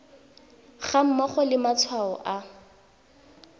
ga mmogo le matshwao a